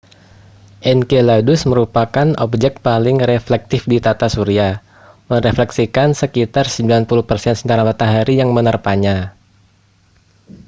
enceladus merupakan objek paling reflektif di tata surya merefleksikan sekitar 90 persen sinar matahari yang menerpanya